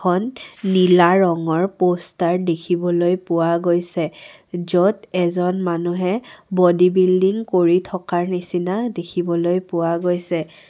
এখন নীলা ৰঙৰ প'ষ্টাৰ দেখিবলৈ পোৱা গৈছে য'ত এজন মানুহে বডি বিল্ডিং কৰি থকাৰ নিচিনা দেখিবলৈ পোৱা গৈছে।